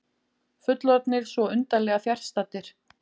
Fullorðnir svo undarlega fjarstaddir.